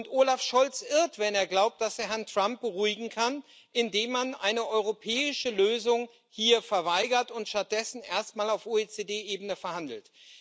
Und Olaf Scholz irrt, wenn er glaubt, dass er Herrn Trump beruhigen kann, indem man hier eine europäische Lösung verweigert und stattdessen erstmal auf OECD Ebene verhandelt.